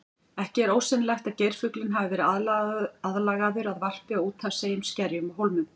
Ekki er ósennilegt að geirfuglinn hafi verið aðlagaður að varpi á úthafseyjum, skerjum og hólmum.